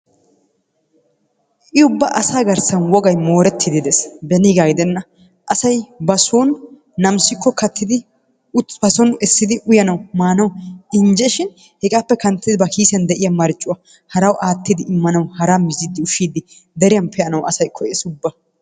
I ubba asaa garssan wogay moorettidi de'ees beniiga giddenna asay bason nammissikko kattidi basoon essidi uyanawu maanawu injeshin hegaappe kanttidi ba kiisiyan de'iya marccuwaa harawu aattidi immanawu haraa mizzanawu mizziidi ushiidi deriyan be'anawu asay koyees ubba.